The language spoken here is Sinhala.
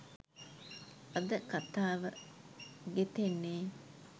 අද කතාව ගෙතෙන්නේ.